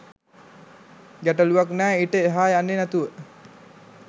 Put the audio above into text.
ගැටළුවක් නෑ ඊට එහා යන්නෙ නැතුව.